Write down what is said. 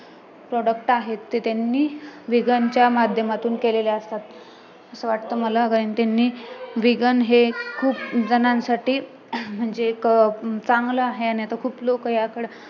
product आहेत ते त्यांनी vegan च्या माध्यमातून केलेले असतात असं वाटत मला कारण त्यांनी vegan हे खूप जणांसाठी म्हणजे एक अं चांगलं आहे आणि आता खूप लोक याकडे